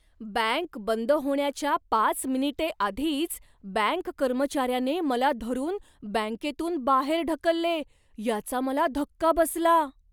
Bank बंद होण्याच्या पाच मिनिटे आधीच बँक कर्मचाऱ्याने मला धरून बँकेतून बाहेर ढकलले याचा मला धक्का बसला.